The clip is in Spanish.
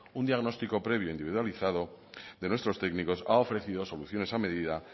un diagnóstico previo individualizado de nuestros técnicos ha ofrecido soluciones a medida